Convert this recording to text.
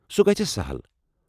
سُہ گژھِ سہل۔